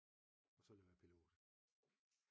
Og så blev jeg pilot